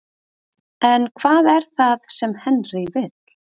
En hvað er það sem Henry vill?